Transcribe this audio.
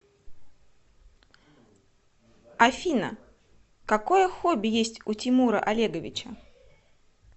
афина какое хобби есть у тимура олеговича